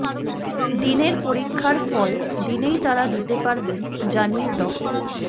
দিনের পরীক্ষার ফল দিনেই তারা দিতে পারবেন জানিয়ে ড